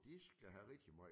De skal have rigtigt meget